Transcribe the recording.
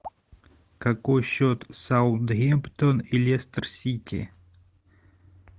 какой счет саутгемптон и лестер сити